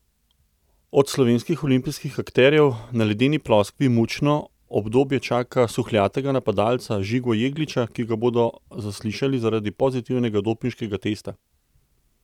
Od slovenskih olimpijskih akterjev na ledeni ploskvi mučno obdobje čaka suhljatega napadalca Žigo Jegliča, ki ga bodo zaslišali zaradi pozitivnega dopinškega testa.